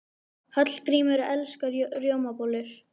Hallgrímur elskar rjómabollur.